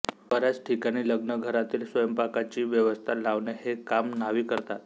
बऱ्याच ठिकाणी लग्नघरातील स्वयंपाकाची व्यवस्था लावणे हे काम न्हावी करतात